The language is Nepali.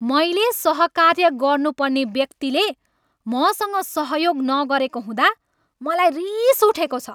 मैले सहकार्य गर्नुपर्ने व्यक्तिले मसँग सहयोग नगरेको हुँदा मलाई रिस उठेको छ।